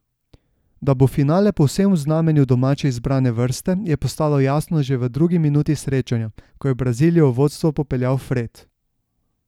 Da bo finale povsem v znamenju domače izbrane vrste, je postalo jasno že v drugi minuti srečanja, ko je Brazilijo v vodstvo popeljal Fred.